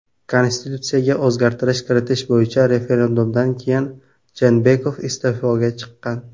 Konstitutsiyaga o‘zgartirish kiritish bo‘yicha referendumdan keyin Jeenbekov iste’foga chiqqan.